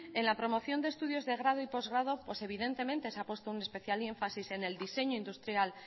en la promoción de estudios de grado y postgrado pues evidentemente se ha puesto especial énfasis en el diseño industrial